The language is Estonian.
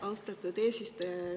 Austatud eesistuja!